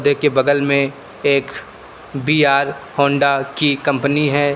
बगल में एक बी_आर होंडा की कंपनी है।